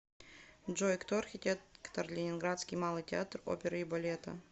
джой кто архитектор ленинградский малый театр оперы и балета